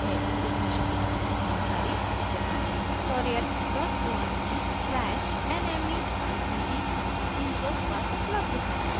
इस मिशन पर अधिक जानकारी